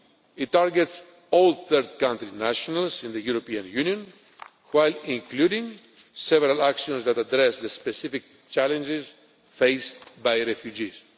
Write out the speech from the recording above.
It targets all third country nationals in the European Union while including several actions that address the specific challenges faced by refugees.